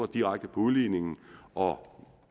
direkte på udligningen og